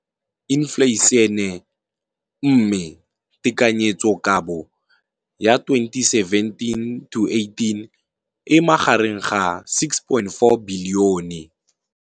Infleišene, mme tekanyetsokabo ya 2017 to 18 e magareng ga 6.4 bilione.